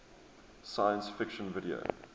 science fiction video